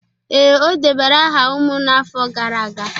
Ee, o debara aha umunna afo gara aga